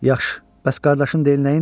Yaxşı, bəs qardaşın deyil, nəyindi?